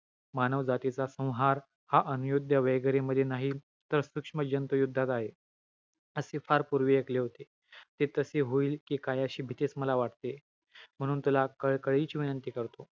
hello मित्रांनो माझं नाव लक्ष